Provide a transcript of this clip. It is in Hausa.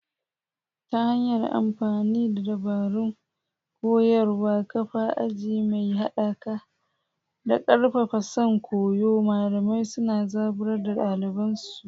Ta hanyar amfani da dabarun koyarwa, kafa aji mai haɗaka, da ƙarfafa son koyo, malamai suna zaburar da ɗaliban su.